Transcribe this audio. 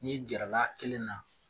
N'i jarala kelen na